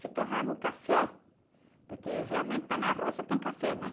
Se torrava o café, porque realmente tá na roça tem café, né?